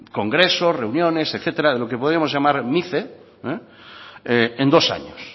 congresos reuniones etcétera de lo que podemos llamar mice en dos años